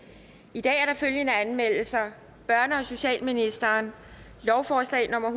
i dag er der følgende anmeldelser børne og socialministeren lovforslag nummer